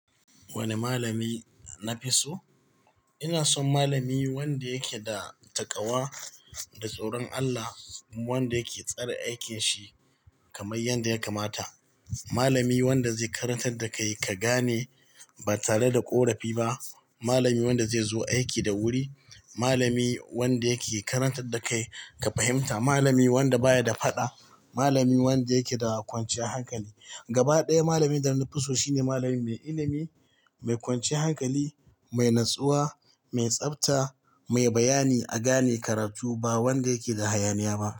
Wane malami na fi so? Ina son malami wanda yake da takawa da tsoron Allah, wanda yake tsare aikin shi kamar yadda ya kamata. Malami wanda zai karantar da kai ka gane ba tare da ƙorafi ba. Malami wanda zai zo aiki da wuri. Malami wanda yake karantar da kai ka fahimta. Malami wanda baya da faɗa. Malami wanda yake da kwanciyar hankali. Gaba ɗaya malamin da na fi so shine malami mai ilimi, mai kwanciyar hankali, mai natsuwa, mai tsafta, mai bayani a gane karatu ba wanda yake da hayaniya ba.